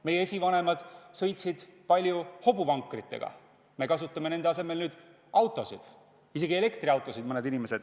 Meie esivanemad sõitsid palju hobuvankritega, meie kasutame nüüd autosid, mõned inimesed isegi elektriautosid.